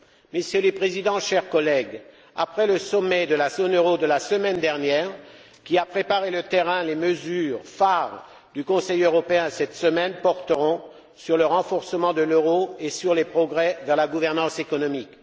Monsieur le Président, chers collègues, après le sommet de la zone euro de la semaine dernière, qui a préparé le terrain, les mesures phares du Conseil européen de cette semaine porteront sur le renforcement de l'euro et sur les progrès vers la gouvernance économique.